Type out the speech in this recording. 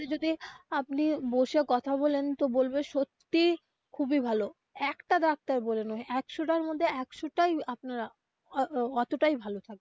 সাথে যদি. আপনি বসে কথা বলেন তো বলবেন সত্যিই খুবই ভালো একটা ডাক্তার বলে নয় একশোটা র মধ্যে একশোটাই আপনার অতোটাই ভালো থাকবে.